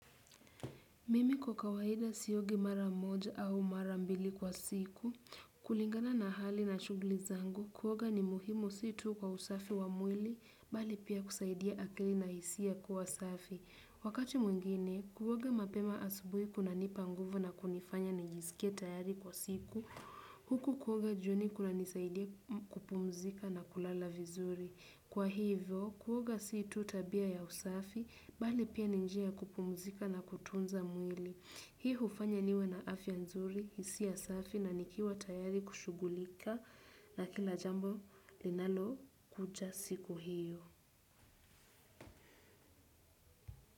Mimi kwa kawaida siogi mara moja au mara mbili kwa siku, kulingana na hali na shughuli zangu, kuoga ni muhimu si tu kwa usafi wa mwili, bali pia kusaidia akili na hisia kuwa usafi. Wakati mwingine, kuoga mapema asubuhi kunanipa nguvu na kunifanya nijisikie tayari kwa siku, huku kuoga jioni kunanisaidia kupumzika na kulala vizuri. Kwa hivyo, kuoga si tu tabia ya usafi, bali pia ni njia ya kupumzika na kutunza mwili. Hii hufanya niwe na afya nzuri, hisia safi na nikiwa tayari kushughulika na kila jambo linalokuja siku hiyo.